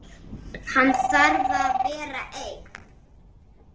Hann þarf að vera einn.